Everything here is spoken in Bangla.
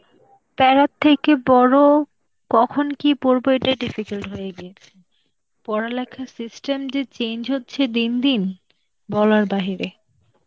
প্যারার থেকে বড় কখন কি পড়বো এটাই difficult হয়ে গিয়েছে. পড়ালেখার system যে change হচ্ছে দিন দিন, বলার বাহিরে.